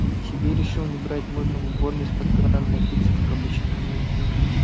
себе решил не брать можно в уборной из-под крана напиться как обычно